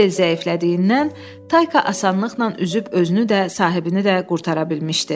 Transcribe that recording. Sel zəiflədiyindən, Tayka asanlıqla üzüb özünü də, sahibini də qurtara bilmişdi.